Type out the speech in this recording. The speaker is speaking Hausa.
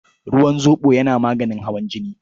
Ruwan zoɓo yana maganin hawan jini.